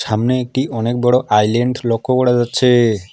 সামনে একটি অনেক বড় আইল্যান্ড লক্ষ্য করা যাচ্ছে।